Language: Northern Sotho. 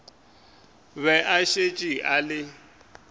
be a šetše a le